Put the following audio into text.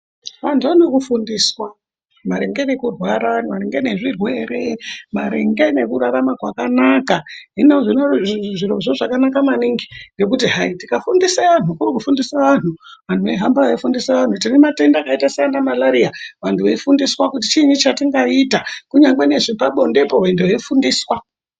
Vantu vanoda kufundiswa maringe ngekurwara, maringe nezvirwere maringe nekurarama zvakanaka. Zvirozvo zvakanaka maningi ngekuti hayi tikafundise antu, iko kufundise antu, antu eihamba eifundise antu. Tine matenda akaite seana malaria vantu vefundiswa kuti chiini chatingaita. Kunyangwe nezvepabondepo vantu veidzidziswa.